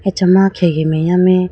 acha ma khege meya mai.